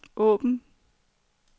åbn